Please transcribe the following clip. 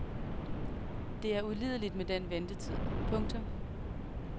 Det er ulideligt med den ventetid. punktum